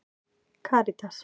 Karítas